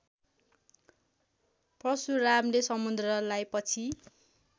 परशुरामले समुद्रलाई पछि